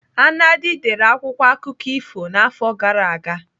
Anadi dere akwụkwọ akụkọ ifo n'afọ gara aga.